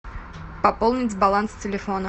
пополнить баланс телефона